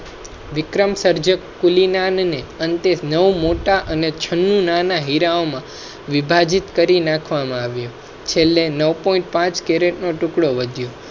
વિક્રમ સર્જક કુલી નાન ને અન્તે નવ મોટા અને છન્નું નાના હીરાઓ માં વિભા જિત કરી નાખવા માં આવ્યું છેલ્લે નાઉ પોઇન્ટ પાંચ નો ટુકડો વધ્યો.